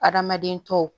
Adamaden tɔw